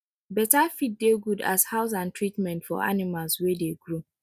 better feed dey good as house and treatment for animals wey dey grow